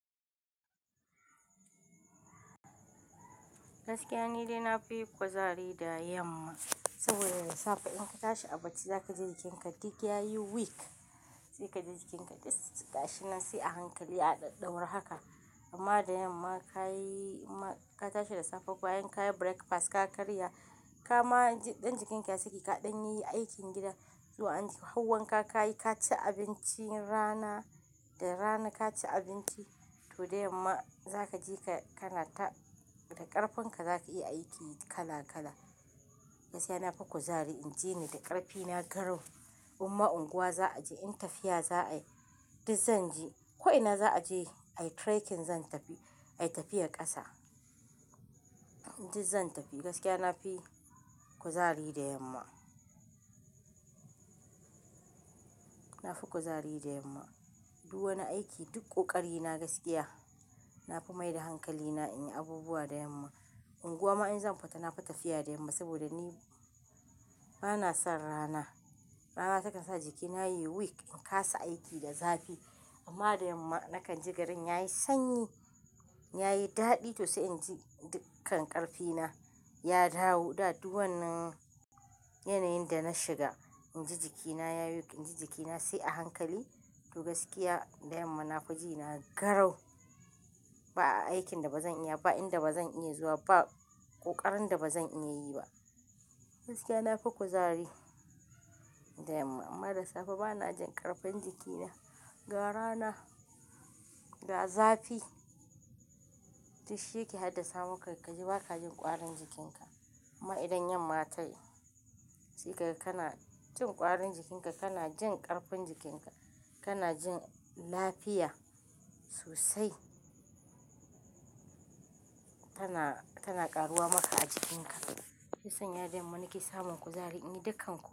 Gaskiya nidai nafi kuzari da yamma saboda da safe in ka tashi a bacci zaka ji jikinka duk yayi waek. Sai kaji jikinka duk gashi nan sai a hankali a daddaure haka amma da yamma ka yi-- ka tashi da safe bayan ka yi breakfast, ka karya ka ma dan jikinka saki kaɗan yayi aikin gida, kyau ance har wanka ka ka yi, ka ci abincin rana, da rana ka ci abinci, to dai yamma za ka je ka kanata da ƙarfin ka za ka iya aiki kala kala. Gaskiya na fi kuzari in je ni da ƙarfi, na garau. Imma unguwa za a je in tafiya za a yi, duk zan je. Ko ina za a je ayi trekking zan tafi, ayi tafiyar ƙasa duk zan tafi. Gaskiya na fi kuzari da yamma. Na fi kuzari da yamma. Duk wani aiki duk ƙoƙari na gaskiya. Na fi maida hankali na in yi abubuwa da yamma. Unguwa ma in zan fita na yi tafiya da yamma saboda ni bana son rana. Rana takan sa jikina yayi weak, in kasa aiki da zafi. Amma da yamma nakan ji garin yayi sanyi, yayi daɗi to sai in ji dukkan ƙarfi na ya dawo. Da duk wannan yanayin da na shiga, in ji jikina yayi weak, in ji jikina sai a hankali. To gaskiya da yamma nafi jina garau. Ba aikin da ba zan iya ba, ba inda ba zan iya zuwa ba, ƙoƙarin da ba zan iya yi ba. Gaskiya na fi kuzari da yamma. Amma da safe bana jin ƙarfin jikina. Ga rana, ga zafi duk shi yake haddasa maka ka ji ba ka jin ƙwarin jikinka. Amma idan yamma tayi sai kaga kana jin kwarin jikin ka, kana jin karfin jikinka, kana jin lafiya sosai. Tana, tana ƙaruwa maka a jikinka. Shi ya sanya da yamma nake samun kuzari in yi dukkan.